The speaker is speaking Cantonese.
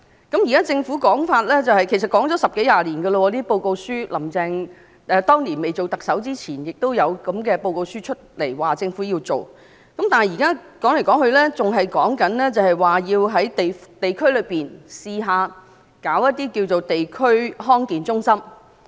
根據現在政府的說法——其實十多二十年前已有這類報告書，"林鄭"當年出任特首前也曾發表這類報告書，說政府要做這樣那樣，但說來說去，還是說要嘗試在各區設立地區康健中心。